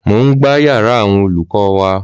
Mò ń gbá yara awon olùkọ́ wa